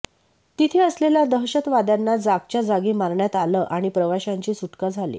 तिथे असलेल्या दहशतवाद्यांना जागच्या जागी मारण्यात आलं आणि प्रवाशांची सुटका झाली